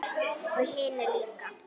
Og hinir líka.